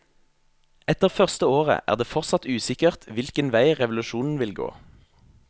Etter første året er det fortsatt usikkert hvilke vei revolusjonen vil gå.